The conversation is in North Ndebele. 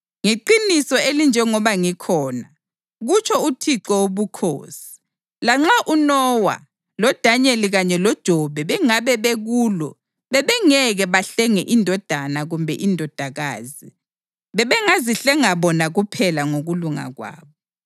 ngeqiniso elinjengoba ngikhona, kutsho uThixo Wobukhosi, lanxa uNowa, loDanyeli kanye loJobe bengabe bekulo bebengeke bahlenge indodana kumbe indodakazi. Bebengazihlenga bona kuphela ngokulunga kwabo.